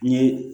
N ye